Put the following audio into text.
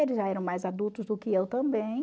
Eles já eram mais adultos do que eu também.